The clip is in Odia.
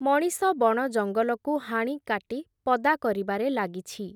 ମଣିଷ ବଣଜଙ୍ଗଲକୁ ହାଣିକାଟି, ପଦା କରିବାରେ ଲାଗିଛି ।